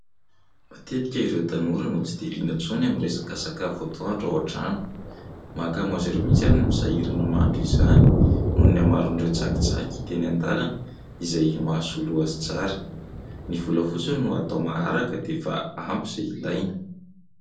Matetika ireo tanora no tsy dia liana intsony amin'ny resaka sakafo atoandro ao an-trano. Mahakamo azy ireo mihitsy azy ny misahirana mahandro izany noho ny hamaroan'ireo tsakitsaky hita eny an-dalana izay mahasolo azy tsara, ny vola fotsiny no atao maharaka dia efa ampy izay ilaina.